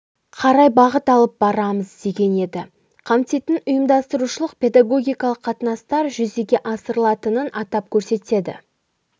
қарай бағыт алып барамыз деген еді қамтитын ұйымдастырушылық педагогикалық қатынастар жүзеге асырылатынын атап көрсетеді